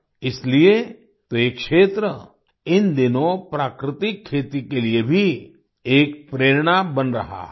इसीलिए तो ये क्षेत्र इन दिनों प्राकृतिक खेती के लिए भी एक प्रेरणा बन रहा है